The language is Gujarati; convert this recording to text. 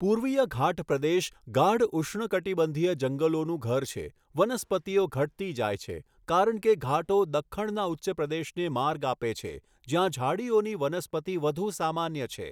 પૂર્વીય ઘાટ પ્રદેશ ગાઢ ઉષ્ણકટિબંધીય જંગલોનું ઘર છે, વનસ્પતિઓ ઘટતી જાય છે કારણ કે ઘાટો દખ્ખણના ઉચ્ચપ્રદેશને માર્ગ આપે છે, જ્યાં ઝાડીઓની વનસ્પતિ વધુ સામાન્ય છે.